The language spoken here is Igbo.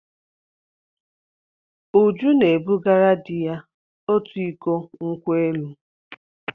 Uju na-ebugara di ya otu iko nkwo elụ.